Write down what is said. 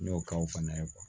N y'o kɛ o fana ye